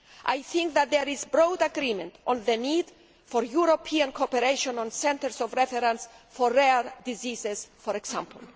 I think that there is broad agreement on the need for European cooperation on centres of reference for rare diseases, for example.